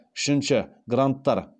үшінші гранттар